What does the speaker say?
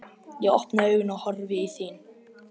Ég opna augun og horfi í þín.